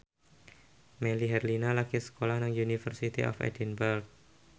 Melly Herlina lagi sekolah nang University of Edinburgh